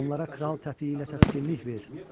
Onlara kral təpiyi ilə təskinlik ver.